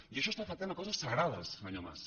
i això està afectant coses sagrades senyor mas